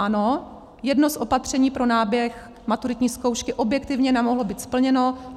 Ano, jedno z opatření pro náběh maturitní zkoušky objektivně nemohlo být splněno.